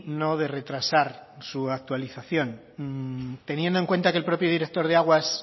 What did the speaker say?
no de retrasar su actualización teniendo en cuenta que el propio director de aguas